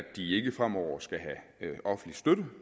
de ikke fremover skal have offentlig støtte